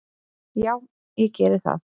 Já ég geri það.